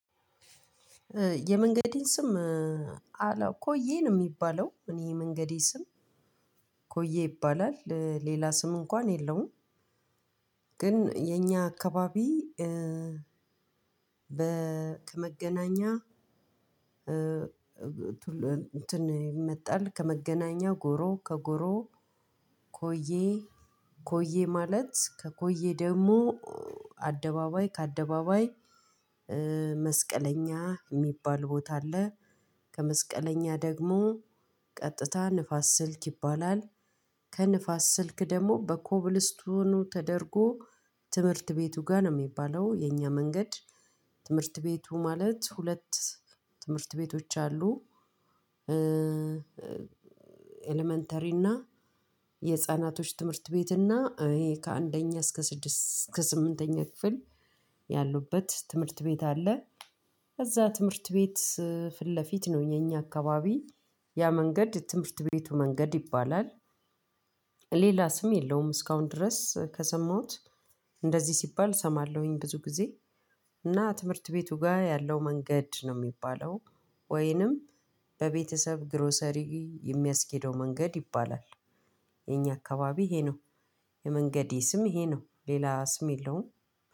የመንገዴን ስም አላው ኮዬ ነው የሚባለው እኔ የመንገዴ ስም ኮዬ ይባላል ሌላ ስም እንኳን የለውም። ግን የኛ አካባቢ። ከመገናኛ እንትን ይመጣል ከመገናኛ ጎሮ ከጎሮ ኮዬ። ኮዬ ማለት ከኮዬ ደግሞ አደባባይ ከአደባባይ መስቀለኛ እሚባል ቦታ አለ። ከመስቀለኛ ደግሞ ቀጥታ ንፋስ ስልክ ይባላል። ከንፋስ ስልክ ደግሞ በኮብልስቱኑ ተደርጎ ትምህርት ቤቱ ጋር ነው የሚባለው የኛ መንገድ። ትምህርት ቤቱ ማለት ሁለት ትምህርት ቤቶች አሉ። ኢለመንተሪ የህፃናት ትምህርት ቤት እና እኔ ከአንደኛ እስከ ስምንተኛ ክፍል ያሉበት ትምህርት ቤት አለ። እዛ ትምህርት ቤት ፊት ለፊት ነው የእኛ አካባቢ። ያ መንገድ ትምህርት ቤቱ መንገድ ይባላል። ሌላ ስም የለውም እስካሁን ድረስ ከሰማሁት እንደዚህ ሲባል እሰማለሁኝ ብዙ ጊዜ። እና ትምህርት ቤቱ ጋር ያለው መንገድ ነው እሚባለው ወይንም በቤተሰብ ግሮሰሪ የሚያስኬደው መንገድ ይባላል። የእኛ አካባቢ ይሄ ነው። የመንገዴ ስም ይሄ ነው ሌላ ስም የለውም።